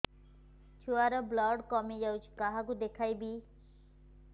ଛୁଆ ର ବ୍ଲଡ଼ କମି ଯାଉଛି କାହାକୁ ଦେଖେଇବି